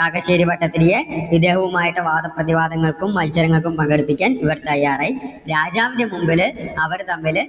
കാക്കശ്ശേരി ഭട്ടതിരിയെ ഇദ്ദേഹവുമായിട്ട് വാദപ്രതിവാദങ്ങൾക്കും മത്സരങ്ങൾക്കും പങ്കെടുപ്പിക്കാൻ ഇവർ തയ്യാറായി. രാജാവിന്‍ടെ മുമ്പില് അവർ തമ്മില്